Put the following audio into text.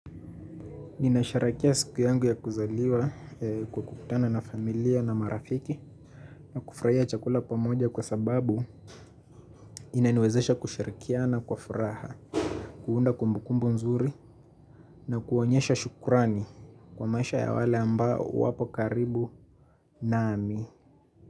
Ninasherekea siku yangu ya kuzaliwa kwa kukutana na familia na marafiki na kufraia chakula pamoja kwa sababu inaniwezesha kushirikiana kwa furaha, kuunda kumbukumbu mzuri na kuonyesha shukurani kwa maisha ya wale ambao wapokaribu nami.